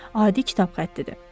Adi kitab xəttidir.